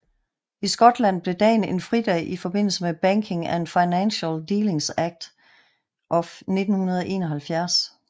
I Skotland blev dagen en fridag i forbindelse med Banking and Financial Dealings Act of 1971